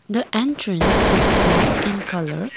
the entrance is black in colour.